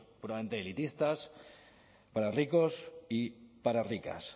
puramente elitistas para ricos y para ricas